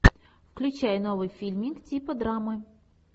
включай новый фильмик типа драмы